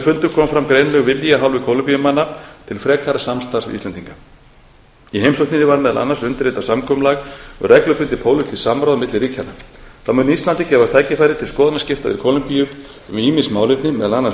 fundum kom fram greinilegur vilji af hálfu kólumbíumanna til frekara samstarfs við íslendinga í heimsókninni var meðal annars undirritað samkomulag um reglubundið samráð milli ríkjanna þá mun íslandi gefast tækifæri til skoðanaskipta í kólumbíu um ýmis málefni meðal annars